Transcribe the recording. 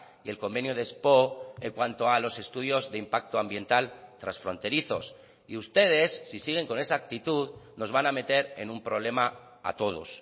y el convenio de espoo en cuanto a los estudios de impacto ambiental transfronterizos y ustedes si siguen con esa actitud nos van a meter en un problema a todos